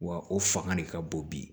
Wa o fanga de ka bon bi